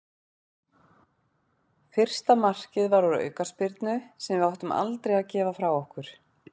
Fyrsta markið var úr aukaspyrnu sem við áttum aldrei að gefa frá okkur.